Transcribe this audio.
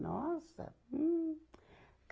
Nossa! Hum.